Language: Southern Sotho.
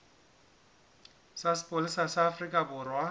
sa sepolesa sa afrika borwa